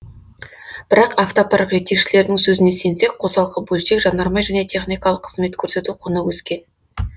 бірақ автопарк жетекшілерінің сөзіне сенсек қосалқы бөлшек жанармай және техникалық қызмет көрсету құны өскен